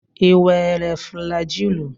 Ị were flajilụ?